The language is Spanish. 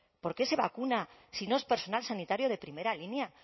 por qué se vacuna si no es personal sanitario de primera línea